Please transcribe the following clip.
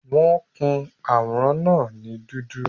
Wọ́n kun àwòrán náà ní dúdú